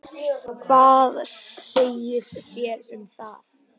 Hvað segið þér um það?